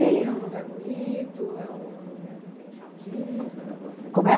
É um lugar bonito? É um lugar que tem jardim, a senhora gosta. Como é?